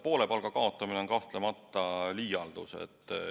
Poole palga kaotamine on kahtlemata liialdus.